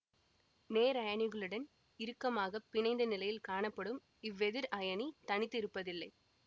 நேரயனிகளுடன் இறுக்கமாக பிணைந்த நிலையில் காணப்படும் இவ்வெதிர் அயனி தனித்து இருப்பதில்லை